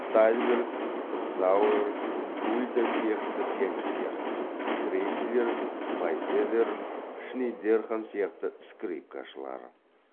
тальберг зауэр гульда сияқты пианистер крейслер майзедер шнейдерхан сияқты скрипкашылар